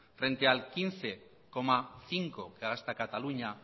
frente al quince coma cinco por ciento que gasta cataluña